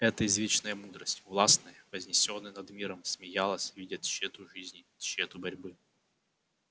это извечная мудрость властная вознесённая над миром смеялась видя тщету жизни тщету борьбы